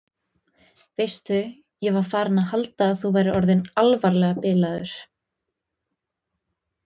Veistu. ég var farin að halda að þú værir orðinn alvarlega bilaður!